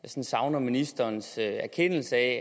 savner ministerens erkendelse af